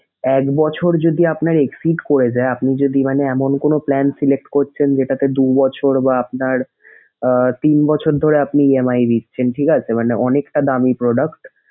এক বছর যদি আপনার exceed করে যায় আপনি যদি মানে এমন কোনো plan select করছেন যেটাতে দুবছর বা আপনার আহ তিন বছর ধরে আপনার EMI দিচ্ছেন ঠিক আছে মানে অনেকটা দামি product